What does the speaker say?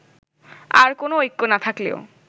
আর কোনো ঐক্য না থাকলেও